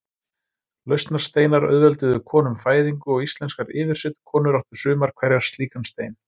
Lausnarsteinar auðvelduðu konum fæðingu og íslenskar yfirsetukonur áttu sumar hverjar slíkan stein.